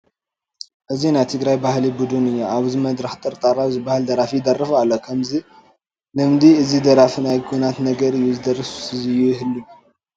እዚ ናይ ትግራይ ባህሊ ቡድን እዩ፡፡ ኣብዚ መድረኽ ጠርጣራው ዝበሃል ደራፊ ይደርፍ ኣሎ፡፡ ከም ልምዲ እዚ ደራፊ ናይ ኲናት ነገር እዩ ዝደርፍ ዝህሉ፡፡